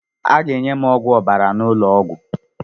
Aga enye m ọgwụ ọbara n'ụlọ ọgwụ.